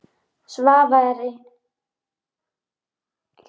Svava er ættuð úr Kjósinni og af Kjalarnesi.